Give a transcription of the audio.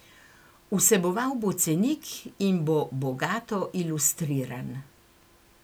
Vseboval bo cenik in bo bogato ilustriran.